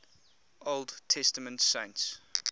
old testament saints